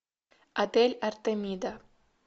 отель артемида